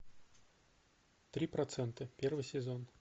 три процента первый сезон